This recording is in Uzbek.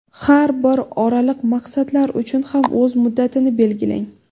Har bir oraliq maqsadlar uchun ham o‘z muddatini belgilang.